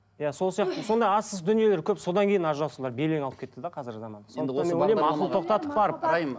иә сол сияқты сондай арсыз дүниелер көп содан кейін ажырасулар белең алып кетті де қазіргі заманда ақыл тоқтатып барып дайын